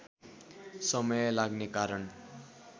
समय लाग्ने कारण